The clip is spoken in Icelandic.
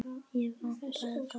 Ekki vantaði það.